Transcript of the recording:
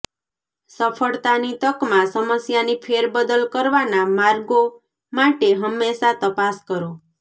સફળતાની તકમાં સમસ્યાની ફેરબદલ કરવાના માર્ગો માટે હંમેશાં તપાસ કરો